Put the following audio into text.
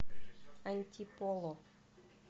антиполо